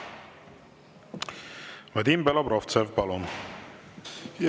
Vadim Belobrovtsev, palun!